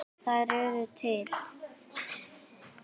Þær eru til.